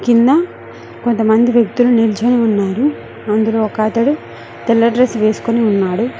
కింద కొంతమంది వ్యక్తులు నిల్చొని అందులో ఒక అతడు తెల్ల డ్రెస్ వేసుకొని ఉన్నాడు.